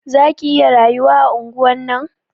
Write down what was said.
Za ki iya rayuwa a anguwan nan?